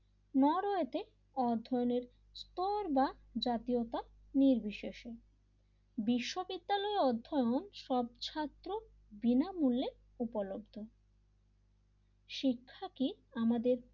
নরও এতে অধ্যয়নের স্কোর বা জাতীয়তা নির্বিশেষে বিশ্ববিদ্যালয়ের অধ্যায়ন সব ছাত্র বিনামূল্যে উপলব্ধ শিক্ষা কি আমাদের,